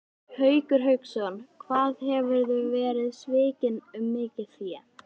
Haukur Hauksson: Hvað hefurðu verið svikinn um mikið fé?